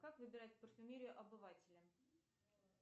как выбирать парфюмерию обывателям